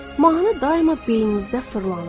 Mahnı daima beyninizdə fırlanır.